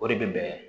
O de bɛ bɛn